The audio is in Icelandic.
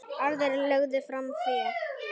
Aðrir lögðu fram fé.